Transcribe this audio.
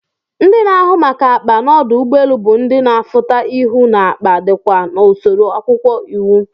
Ndi na ahụ maka akpa n'ọdụ ugbọ elu bu ndi na afuta ihụ n'akpa ọdikwa n'usoro akwụkwọ iwu.